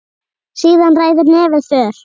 Síðan ræður nefið för.